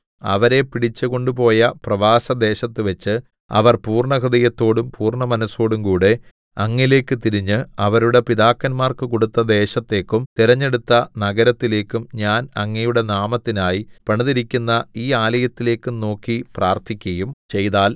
അവരെ പിടിച്ചു കൊണ്ടുപോയ പ്രവാസദേശത്തുവെച്ച് അവർ പൂർണ്ണഹൃദയത്തോടും പൂർണ്ണമനസ്സോടുംകൂടെ അങ്ങിലേക്കു തിരിഞ്ഞ് അവരുടെ പിതാക്കന്മാർക്കു കൊടുത്ത ദേശത്തേക്കും തെരഞ്ഞെടുത്ത നഗരത്തിലേക്കും ഞാൻ അങ്ങയുടെ നാമത്തിനായി പണിതിരിക്കുന്ന ഈ ആലയത്തിലേക്കും നോക്കി പ്രാർത്ഥിക്കയും ചെയ്താൽ